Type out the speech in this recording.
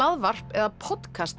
hlaðvarp eða